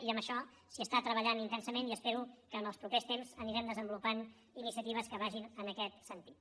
i en això s’hi treballa intensament i espero que en els propers temps anirem desenvolupant iniciatives que vagin en aquest sentit